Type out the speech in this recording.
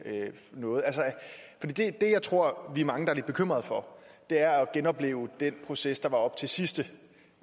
noget det jeg tror vi er mange der er lidt bekymrede for er at genopleve den proces der var op til sidste